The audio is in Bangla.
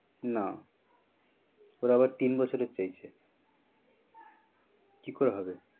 না ওরা আবার তিন বছরের চেয়েছে কি করে হবে?